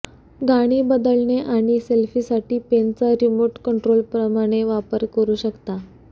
गाणी बदलणे आणि सेल्फीसाठी पेनचा रिमोट कंट्रोलप्रमाणे वापर करू शकता